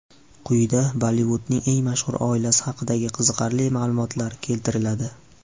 Quyida Bollivudning eng mashhur oilasi haqidagi qiziqarli ma’lumotlar keltiriladi.